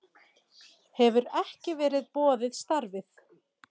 Hefur ekki verið boðið starfið